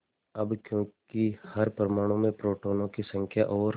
अब क्योंकि हर परमाणु में प्रोटोनों की संख्या और